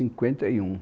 Cinquenta e um